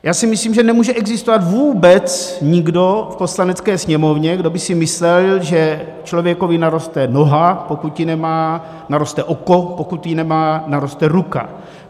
Já si myslím, že nemůže existovat vůbec nikdo v Poslanecké sněmovně, kdo by si myslel, že člověku naroste noha, pokud ji nemá, naroste oko, pokud ho nemá, naroste ruka.